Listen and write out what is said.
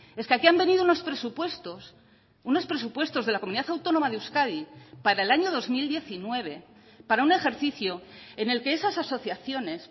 es que aquí han venido unos presupuestos unos presupuestos de la comunidad autónoma de euskadi para el año dos mil diecinueve para un ejercicio en el que esas asociaciones